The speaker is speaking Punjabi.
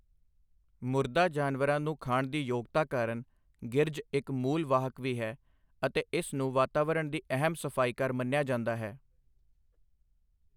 ਮੁਰਦਾ ਜਾਨਵਰਾਂ ਨੂੰ ਖਾਣ ਦੀ ਯੋਗਤਾ ਕਾਰਨ ਗਿਰਝ ਇਕ ਮੂਲ ਵਾਹਕ ਵੀ ਹੈ ਅਤੇ ਇਸ ਨੂੰ ਵਾਤਾਵਰਣ ਦੀ ਅਹਿਮ ਸਫ਼ਾਈਕਾਰ ਮੰਨਿਆ ਜਾਂਦਾ ਹੈ।